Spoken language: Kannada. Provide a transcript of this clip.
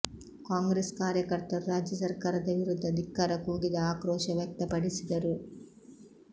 ಕಾಂಗ್ರೆಸ್ ಕಾರ್ಯಕರ್ತರು ರಾಜ್ಯ ಸರ್ಕಾರದ ವಿರುದ್ಧ ಧಿಕ್ಕಾರ ಕೂಗಿದ ಆಕ್ರೋಶ ವ್ಯಕ್ತಪಡಿಸಿದರು